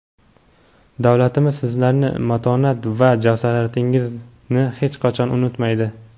davlatimiz sizlarning matonat va jasoratingizni hech qachon unutmaydi.